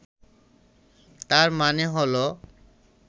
তার মানে হলো